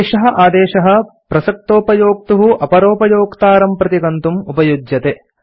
एषः आदेशः प्रसक्तोपयोक्तुः अपरोपयोक्तारं प्रति गन्तुम् उपयुज्यते